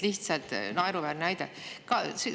Lihtsalt naeruväärne väide!